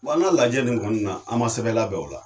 Wa n'a lajɛ nin kɔnɔna na, an ma sɛbɛn labɛn o la